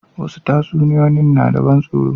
Wasu tatsuniyoyin na da ban tsaro.